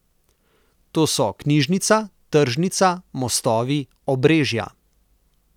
To so knjižnica, tržnica, mostovi, obrežja.